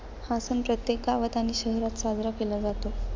हा सण प्रत्येक गावात आणि शहरात साजरा केला जातो.